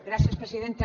gràcies presidenta